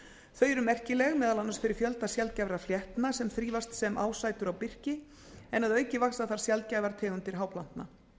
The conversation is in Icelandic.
þau eru merkileg meðal annars fyrir fjölda sjaldgæfra fléttna sem þrífast sem ásætur á birki en að auki vaxa þar sjaldgæfar tegundir háplantna